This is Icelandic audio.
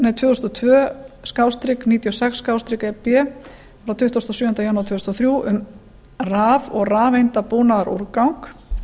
tvö þúsund og tvö níutíu og sex e b frá tuttugasta og sjöunda janúar tvö þúsund og þrjú um raf og rafeindabúnaðarúrgang